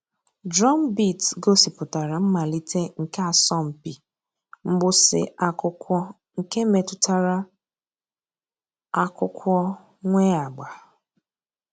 Drumbeat gọ̀sìpùtárà mmàlítè nke àsọ̀mpị mgbụsị̀ ákụ̀kwò nke mètụtara àkụ̀kwò nwee àgbà.